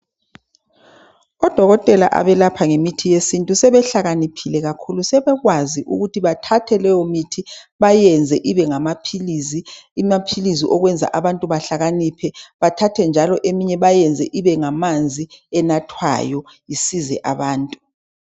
Odokotela abelapha ngemithi yesintu sebehlakaniphile kakhulu sebekwazi ukuthi bathathe leyo mithi bayenze ibe ngamaphilisi, amaphilisi okwenza abantu behlakaniphe bethathe njalo eminye bayenze ibe ngamanzi enathwayo isizwe abantu.